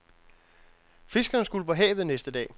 Fiskerne skulle på havet næste dag.